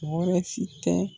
si tɛ